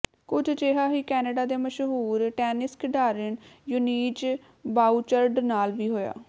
ਕੁਝ ਅਜਿਹਾ ਹੀ ਕੈਨੇਡਾ ਦੀ ਮਸ਼ਹੂਰ ਟੈਨਿਸ ਖਿਡਾਰਨ ਯੂਜੀਨ ਬਾਊਚਰਡ ਨਾਲ ਵੀ ਹੋਇਆ